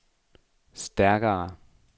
stærkere